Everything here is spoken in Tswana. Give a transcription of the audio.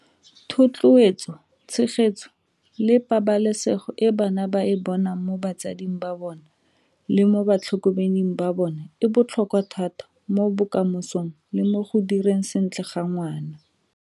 Thotloetso, tshegetso le pabalesego e bana ba e bonang mo batsading ba bona le mo batlhokomeding ba bona e botlhokwa thata mo bokamosong le mo go direng sentle ga ngwana.